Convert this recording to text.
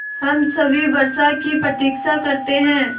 हम सभी वर्षा की प्रतीक्षा करते हैं